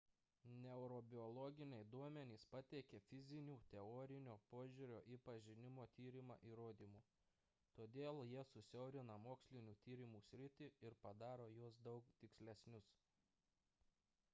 neurobiologiniai duomenys pateikia fizinių teorinio požiūrio į pažinimo tyrimą įrodymų todėl jie susiaurina mokslinių tyrimų sritį ir padaro juos daug tikslesnius